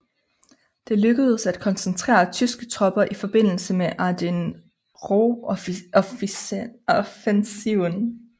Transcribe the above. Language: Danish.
Det lykkedes at koncentrere tyske tropper i forbindelse med Ardenneroffensiven